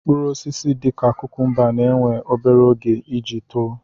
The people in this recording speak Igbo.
Mkpụrụ osisi dị ka kukumba na-éwè obere oge iji too